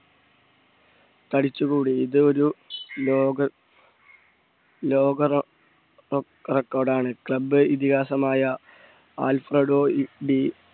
തടിച്ചുകൂടി ഇതൊരു ലോക ലോക റെക്കോർഡ് ആണ് club ഇതിഹാസമായ ആൽഫ്രഡോഇകബി